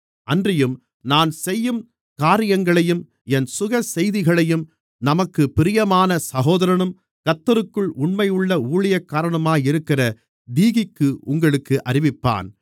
அன்றியும் நான் செய்யும் காரியங்களையும் என் சுகசெய்திகளையும் நமக்குப் பிரியமான சகோதரனும் கர்த்தருக்குள் உண்மையுள்ள ஊழியக்காரனுமாக இருக்கிற தீகிக்கு உங்களுக்கு அறிவிப்பான்